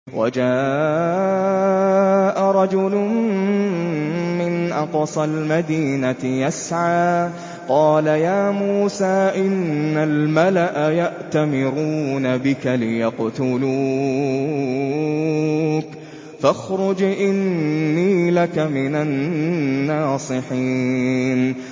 وَجَاءَ رَجُلٌ مِّنْ أَقْصَى الْمَدِينَةِ يَسْعَىٰ قَالَ يَا مُوسَىٰ إِنَّ الْمَلَأَ يَأْتَمِرُونَ بِكَ لِيَقْتُلُوكَ فَاخْرُجْ إِنِّي لَكَ مِنَ النَّاصِحِينَ